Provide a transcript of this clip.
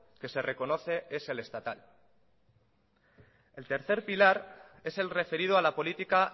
que se reconoce es el estatal el tercer pilar es el referido a la política